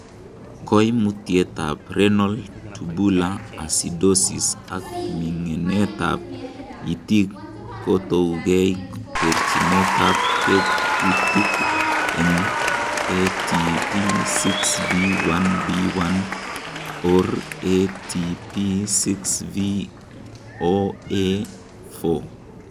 Koimutietab Renal tubular acidosis ak ming'etab itik kotoungei terchinetab tekutik en ATP6V1B1 or ATP6V0A4 .